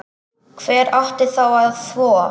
Hver átti þá að þvo?